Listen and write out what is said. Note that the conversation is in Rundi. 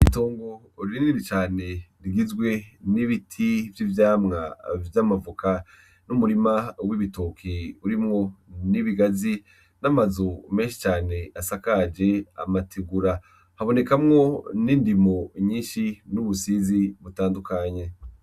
Itongo rinini cane rigizwe n'ibiti vyivyamwa vy'amavoka n'umurima wibitoke nibigazi n'amazu menshi cane asakajwe amategura habonekamwo nindimo nyinshi nubusizi butandukanye